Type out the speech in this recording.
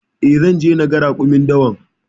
E, zan je naga raƙumin dawan.